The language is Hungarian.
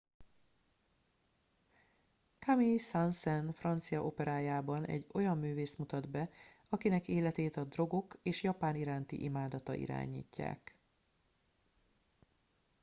"camille saint-saens francia operájában egy olyan művészt mutat be "akinek életét a drogok és japán iránti imádata irányítják"".